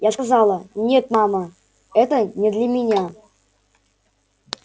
я сказала нет мама это не для меня